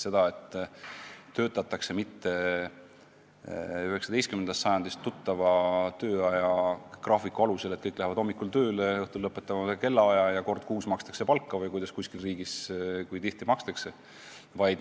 Enam ei töötata 19. sajandist tuttava tööaja graafiku alusel, et kõik lähevad hommikul tööle, õhtul lõpetavad ühel kellaajal ja kord kuus makstakse palka või kui tihti kuskil riigis makstakse.